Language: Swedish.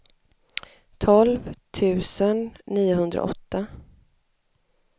tolv tusen niohundraåtta